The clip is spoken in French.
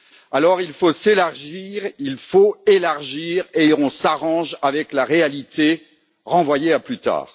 Alors, il faut s'élargir, il faut élargir et on s'arrange avec la réalité, renvoyée à plus tard.